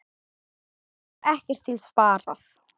Þá var ekkert til sparað.